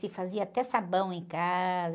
Se fazia até sabão em casa.